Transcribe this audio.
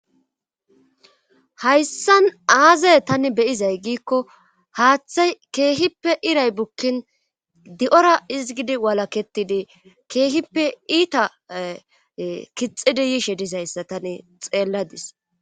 Hayssan aazay tani be'izay giikko haaththay keehippe iray bukkin di7ora izgidi walaketidi keehippe iita kixidi yishe dizayssa tani xeelladis.